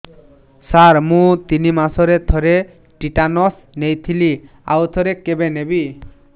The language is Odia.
ସାର ମୁଁ ତିନି ମାସରେ ଥରେ ଟିଟାନସ ନେଇଥିଲି ଆଉ ଥରେ କେବେ ନେବି